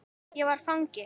Ég var fangi.